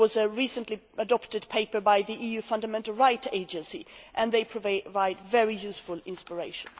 There was a recently adopted paper by the EU Fundamental Rights Agency, which provides very useful inspiration.